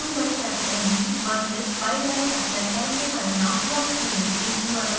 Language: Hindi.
और u/u v/s y/l के परिणाम प्लॉट करें